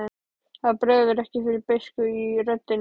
Það bregður fyrir beiskju í röddinni.